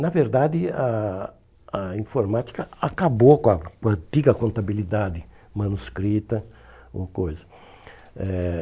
Na verdade, a a informática acabou com a com a antiga contabilidade manuscrita, uma coisa.